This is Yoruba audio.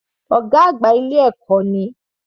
Ọ̀gá àgbà ilé ẹ̀kọ́ ni.